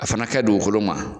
A fana kɛ dugukolo ma